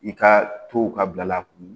I ka to ka bila kun